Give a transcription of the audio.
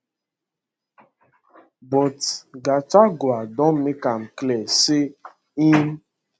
but gachagua don make am clear say im